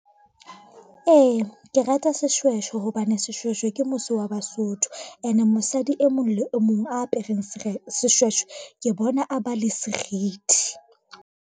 Ee, ke rata seshweshwe hobane seshweshwe ke mose wa Basotho ene mosadi e mong le mong apereng seshweshwe, ke bona a ba le serithi.